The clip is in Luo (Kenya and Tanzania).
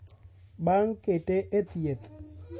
bang' kete e thieth